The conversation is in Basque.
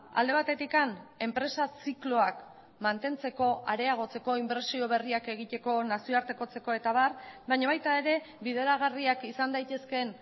alde batetik enpresa zikloak mantentzeko areagotzeko inbertsio berriak egiteko nazioartekotzeko eta abar baina baita ere bideragarriak izan daitezkeen